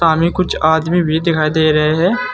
कुछ आदमी भी दिखाई दे रहे हैं।